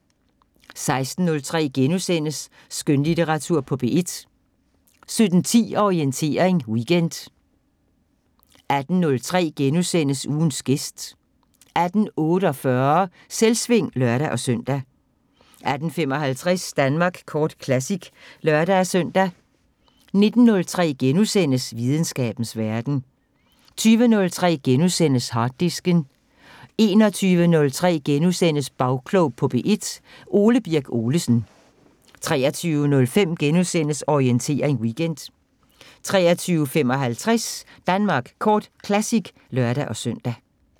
16:03: Skønlitteratur på P1 * 17:10: Orientering Weekend 18:03: Ugens gæst * 18:48: Selvsving (lør-søn) 18:55: Danmark Kort Classic (lør-søn) 19:03: Videnskabens Verden * 20:03: Harddisken * 21:03: Bagklog på P1: Ole Birk Olesen * 23:05: Orientering Weekend * 23:55: Danmark Kort Classic (lør-søn)